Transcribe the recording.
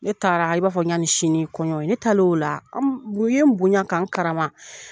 Ne taara i b'a fɔ ɲani sini ye kɔɲɔ ye, ne taalen o la u ye n bonya ka n karama